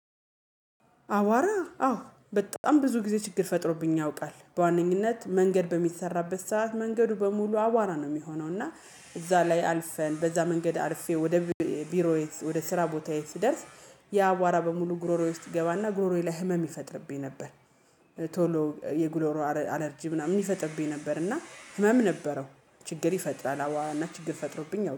አቯራ አዎ በጣም ብዙ ጊዜ ችግር ፈጥሮብኝ ያውቃል በዋነኝነት መንገድ በሚሰራበት ሰዓት መንገዱ በሙሉ አቯራ ነው የሚሆነው እና እዛ ላይ አልፈን በዛ መንገድ አልፌ ወደ ቢሮዬ ወደ ስራ ቦታዬ ስደርስ ያአቯራ በሙሉ ጉረሮየ ውስጥ ይገባና ጉረሮየ ላይ ህመም ይፈጥርብኝ ነበር። ቶሎ የጉረሮ አረ አለርጂ ምናምን ይፈጥብኝ ነበር እና ህመም ነበረው። ችግር ይፈጥራል አቯራና ችግር ፈጥሮብኝ